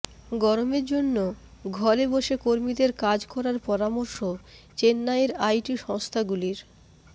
গরমের জন্য ঘরে বসে কর্মীদের কাজ করার পরামর্শ চেন্নাইয়ের আইটি সংস্থাগুলির